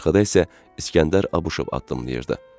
Arxada isə İskəndər Abışov addımlayırdı.